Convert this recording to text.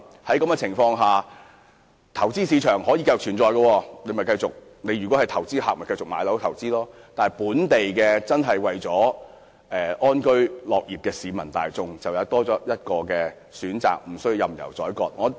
在這種情況下，投資市場仍可繼續存在，投資客可繼續購買物業投資，但想安居樂業的本地市民則多了一項選擇，不會被任由宰割。